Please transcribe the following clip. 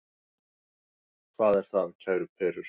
Hvað er það, kæru perur?